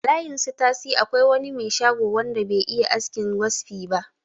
A layin su tasi akwai wani me shago wanda be iya askin waspi ba